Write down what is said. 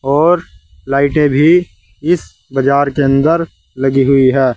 और लाइटें भी इस बाजार के अंदर लगी हुई है।